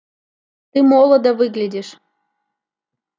ты молодо выглядишь